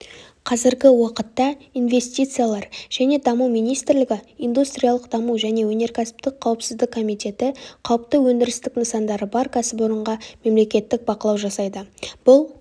қазіргі уақытта инвестициялар және даму министрлігі индустриялық даму және өнеркәсіптік қауіпсіздік комитеті қауіпті өндірістік нысандары бар кәсіпорынға мемлекеттік бақылау жасайды бұл